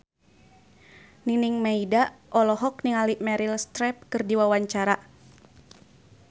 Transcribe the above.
Nining Meida olohok ningali Meryl Streep keur diwawancara